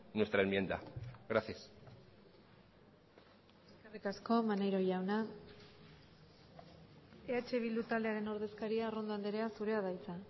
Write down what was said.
nuestra enmienda gracias eskerrik asko maneiro jauna eh bildu taldearen ordezkaria arrondo andrea zurea da hitza